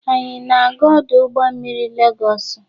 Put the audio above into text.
Anyị na-aga ọdụ ụgbọ mmiri Legosu